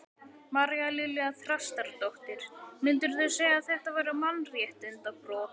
María Lilja Þrastardóttir: Myndirðu segja að þetta væru mannréttindabrot?